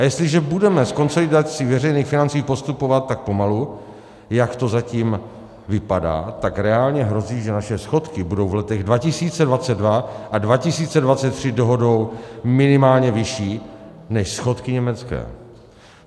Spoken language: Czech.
A jestliže budeme s konsolidací veřejných financí postupovat tak pomalu, jak to zatím vypadá, tak reálně hrozí, že naše schodky budou v letech 2022 a 2023 dohodou (?) minimálně vyšší než schodky německé.